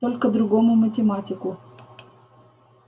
только другому математику